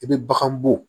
I bɛ bagan bɔ